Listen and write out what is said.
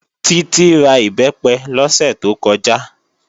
Títí ra Ìbẹ́pẹ lọ́sẹ̀ tó kọjá